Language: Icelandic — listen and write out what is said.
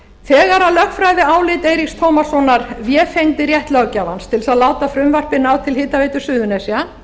þegar lögfræðiálit eiríks tómassonar vefengdi rétt löggjafans til þess að láta frumvarpið ná til hitaveitu suðurnesja